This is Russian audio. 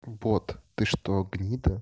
бот ты что гнида